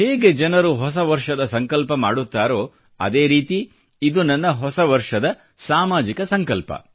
ಹೇಗೆ ಜನರು ಹೊಸವರ್ಷದ ಸಂಕಲ್ಪ ಮಾಡುತ್ತಾರೋ ಅದೇ ರೀತಿ ಇದು ನನ್ನ ಹೊಸವರ್ಷದ ಸಾಮಾಜಿಕ ಸಂಕಲ್ಪ